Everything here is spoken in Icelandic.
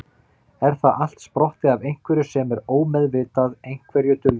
Er það allt sprottið af einhverju sem er ómeðvitað, einhverju dulvituðu?